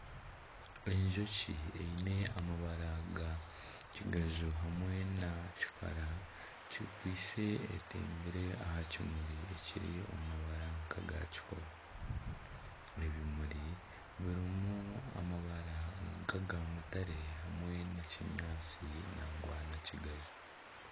Enjoki eine amabara ga kigaju hamwe na kikara ekwise etembire aha kimuri kiri omu mabara nk'aga kikobe. Ebimuri birimu amabara nk'aga mutare hamwe na kinyaatsi nangwa na kigaju.